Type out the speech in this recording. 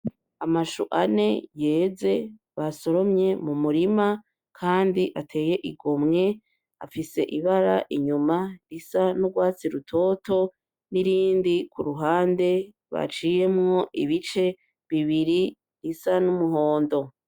Amashou ane yeze basoromye mu murima kandi ateye igomwe, afise ibara inyuma risa n'urwatsi rutoto n'irindi kuruhande baciyemwo ibice bibiri bisa n'umuhondo.